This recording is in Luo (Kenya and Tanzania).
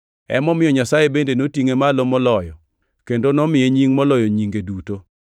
Emomiyo Nyasaye bende notingʼe malo moloyo, kendo nomiye nying moloyo nyinge duto,